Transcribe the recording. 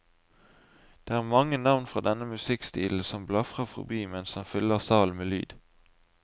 Det er mange navn fra denne musikkstilen som blafrer forbi mens han fyller salen med lyd.